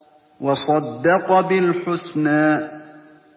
وَصَدَّقَ بِالْحُسْنَىٰ